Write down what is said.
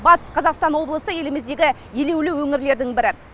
батыс қазақстан облысы еліміздегі елеулі өңірлердің бірі